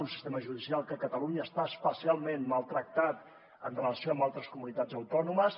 un sistema judicial que a catalunya està especialment maltractat en relació amb altres comunitats autònomes